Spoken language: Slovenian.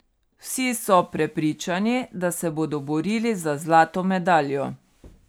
Vsi so prepričani, da se bodo borili za zlato medaljo.